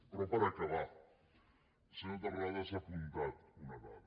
però per acabar el senyor terrades ha apuntat una dada